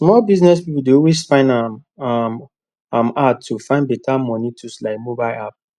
small business pipu dey always find um am um hard to find better moni tools like mobile app